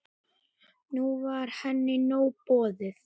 Nú var henni nóg boðið.